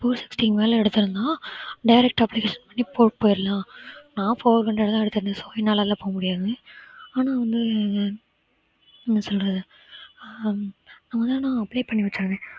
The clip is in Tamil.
foursixty க்கு மேல எடுத்தென்னா direct application பண்ணி போட்டு போயிரலாம் நான் four hundred தான் எடுத்திருந்தேன் sorry என்னால எல்லாம் போக முடியாது ஆனா வந்து என்ன சொல்றது ஹம் ஆனா apply பண்ணி